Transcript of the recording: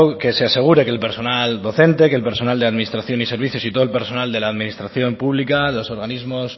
que se asegure que el personal docente que el personal de administración y servicios y todo el personal de la administración pública los organismos